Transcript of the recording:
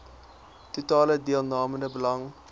totale deelnemende belange